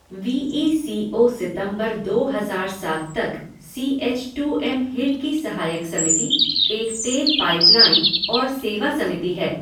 We E C O सितंबर दो हज़ार सात तक C H two M hill की सहायक समिति, एक तेल पाइपलाइन और सेवा समिति है।